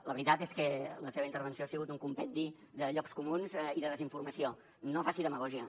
la veritat és que la seva intervenció ha sigut un compendi de llocs comuns i de desinformació no faci demagògia